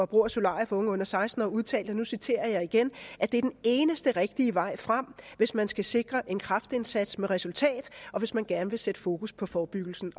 brug af solarier for unge under seksten år udtalt og nu citerer jeg igen at det er den eneste rigtige vej frem hvis man skal sikre en kraftindsats med resultat og hvis man gerne vil sætte fokus på forebyggelsen